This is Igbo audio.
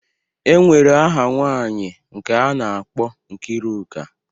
E nwere aha nwaanyị nke a na-akpọ Nkiruka.